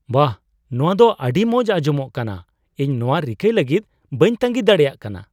ᱵᱟᱦ, ᱱᱚᱶᱟ ᱫᱚ ᱟᱹᱰᱤ ᱢᱚᱡ ᱟᱸᱡᱚᱢᱚᱜ ᱠᱟᱱᱟ ! ᱤᱧ ᱱᱚᱶᱟ ᱨᱤᱠᱟᱹᱭ ᱞᱟᱹᱜᱤᱫ ᱵᱟᱹᱧ ᱛᱟᱸᱜᱤ ᱫᱟᱲᱮᱭᱟᱜ ᱠᱟᱱᱟ ᱾